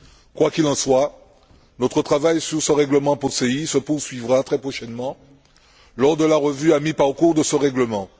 Quoi qu'il en soit, notre travail sur ce règlement POSEI se poursuivra très prochainement lors de la revue à mi parcours de ce règlement.